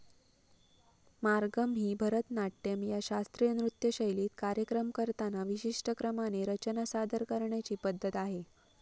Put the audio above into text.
मार्गम ही भरतनाट्यम या शास्त्रीय नृत्यशैलीत कार्यक्रम करताना विशिष्ट क्रमाने रचना सादर करण्याची पद्धत आहे.